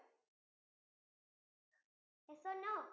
yes or no?